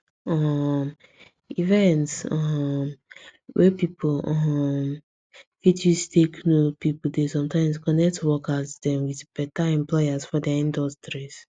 um events um wey people um fit use take know people dey sometimes connect workers dem with beta employers for dia industries